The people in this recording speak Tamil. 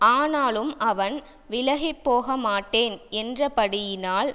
ஆனாலும் அவன் விலகிப்போகமாட்டேன் என்றபடியினால்